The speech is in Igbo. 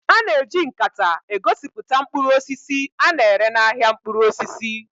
A na-eji nkata egosipụta mkpụrụ osisi a na-ere n'ahịa mkpụrụ osisi